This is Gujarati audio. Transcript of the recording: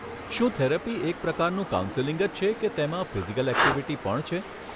શું થેરપી એક પ્રકારનું કાઉન્સેલિંગ છે કે તેમાં ફિઝિકલ ઍક્ટિવિટી પણ છે?